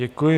Děkuji.